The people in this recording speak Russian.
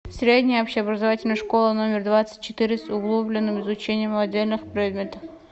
средняя общеобразовательная школа номер двадцать четыре с углубленным изучением отдельных предметов